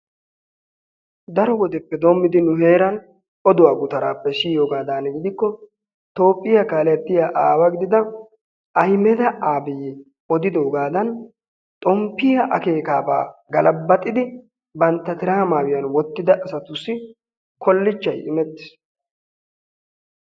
Daro woddeppe doomiddi nu heeran odduwaa guttarappe siyoogadan giddikko Toophphiyaa kaalettiyaa aawa gididda Ayimedde Abiyi odidoggadan xomppiyaa akeekkabba galabaxiddi bantta tiraa maayuwaan wottidda asattusi kolichchay immettis.